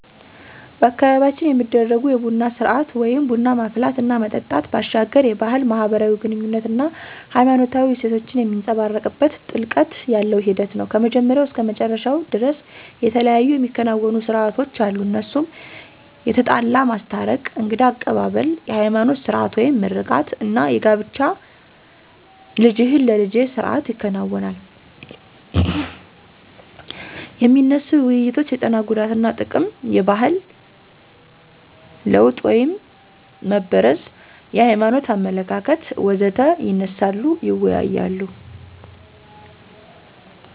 በአካባቢያችን የሚደረጉ የቡና ስርአት (ቡና ማፍላት እና መጠጣት) ባሻገር የባህል፣ ማህበራዊ ግኑኝነት አና ሃይማኖታዊ እሴቶችን የሚንፀባረቅበት ጥልቀት ያለው ሂደት ነው። ከመጀመሪያው እስከ መጨረሻው ደርስ የተለያዩ የሚከናወኑ ሰርአቶች አሉ እነሱም የተጣላ ማስታረቅ፣ የእንግዳ አቀባብል፣ የሀይማኖት ስርአት (ምርቃት) አና የጋብቻ ልጅህን ለልጀ ስርአት ይከናወናል። የሚነሱ ውይይቶች የጤና ጉዳትና ጥቅም፣ የባህል ለወጥ (መበረዝ) የሀይማኖት አመለካከት.... ወዘተ ይነሳሉ ይወያያሉ።